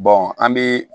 an bɛ